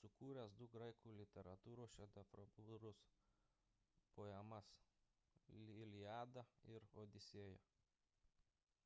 sukūręs du graikų literatūros šedevrus poemas iliada ir odisėja